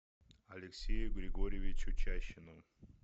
алексею григорьевичу чащину